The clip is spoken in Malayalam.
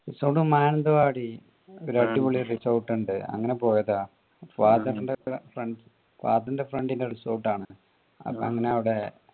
resort ഓ മാനന്തവാടി ഒരടിപൊളി resort ഇണ്ട് അങ്ങനെ പോയതാ father ന്റെ friend father ന്റെ friend ന്റെ resort ആണ് അപ്പൊ അങ്ങനെ അവിടെ